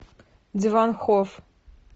диван хофф